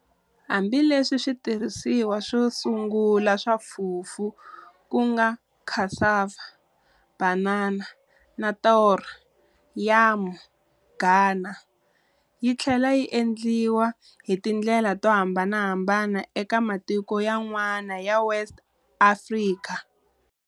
Hambi leswi switirhisiwa swosungula swa fufu kunga cassava, banana na taro, yam, Ghana, yitlhela yi endliwa hi tindlela tohambanahambana eka matiko yan'wana ya West Africa.